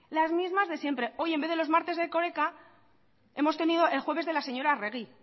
las mismas de siempre hoy en vez de los martes de erkoreka hemos tenido el jueves de la señora arregi